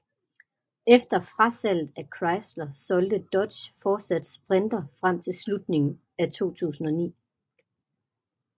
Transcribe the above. Efter frasalget af Chrysler solgte Dodge fortsat Sprinter frem til slutningen af 2009